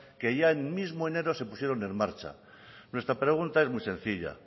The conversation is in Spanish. que ya en el mismo enero se pusieron en marcha nuestra pregunta es muy sencilla